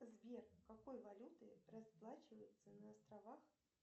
сбер какой валютой расплачиваются на островах